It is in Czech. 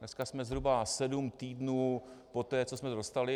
Dneska jsme zhruba sedm týdnů poté, co jsme ho dostali.